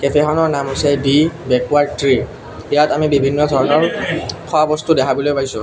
কেফেখনৰ নাম হৈছে the backward tree ইয়াত আমি বিভিন্ন ধৰণৰ খোৱা বস্তু দেখাবলৈ পাইছোঁ।